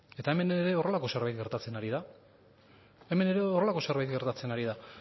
eta hemen ere horrelako zerbait gertatzen ari da hemen ere horrelako zerbait gertatzen ari da